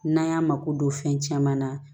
N'an y'a mako don fɛn caman na